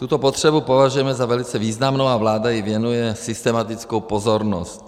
Tuto potřebu považujeme za velice významnou a vláda jí věnuje systematickou pozornost.